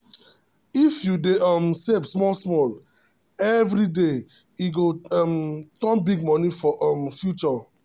if you dey um save small small every day e go um turn big money for um future.